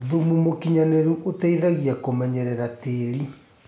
Thũmũ mũkĩnyanĩrũ ũteĩthagĩa kũmenyerera tĩĩrĩ